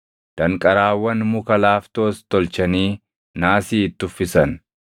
Danqaraawwan muka laaftoos tolchanii naasii itti uffisan.